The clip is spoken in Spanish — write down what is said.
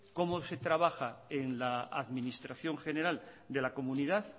cómo se trabaja en la administración general de la comunidad